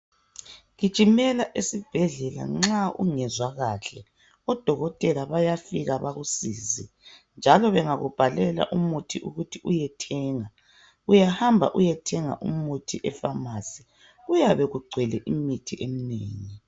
Gijimela esibhedlela nxa ungezwa kuhle. Odokotela bayafika bakusize njalo bangakubhalela umuthi ukuthi uyethenga, uyahamba uyethenga umuthi epharmacy kuyabe kugcwele imithi eminengi.